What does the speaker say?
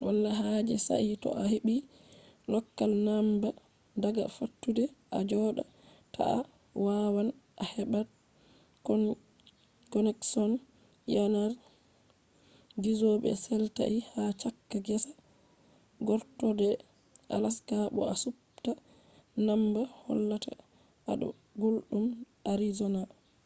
wala haaje sai to a heɓi lokal namba daga fattude a jooɗa ta,a waawan a heɓa konekshon yanar gizo be setlait ha caka gesa gortooɗe alaska bo a supta namba hollata a ɗo gulɗum arizona